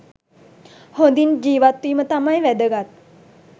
හොඳින් ජීවත්වීම තමයි වැදගත්.